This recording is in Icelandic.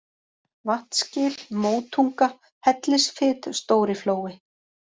Vatnsgil, Mótunga, Hellisfit, Stóriflói